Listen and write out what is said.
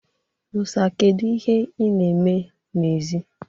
Musa, kedu ihe ị na-eme n'èzí?